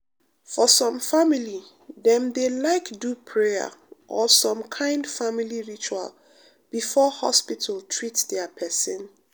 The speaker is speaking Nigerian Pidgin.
for some family dem dey like do prayer or some kind family ritual before hospital treat dia pesin.